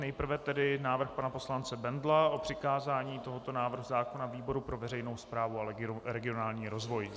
Nejprve tedy návrh pana poslance Bendla o přikázání tohoto návrhu zákona výboru pro veřejnou správu a regionální rozvoj.